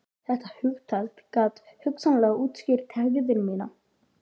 Þetta hugtak gat hugsanlega útskýrt hegðun mína.